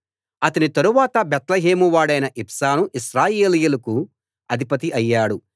అతని తరువాత బేత్లెహేమువాడైన ఇబ్సాను ఇశ్రాయేలీయులకు అధిపతి అయ్యాడు